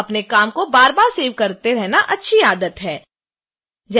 अपने काम को बार बार सेव करते रहना अच्छी आदत है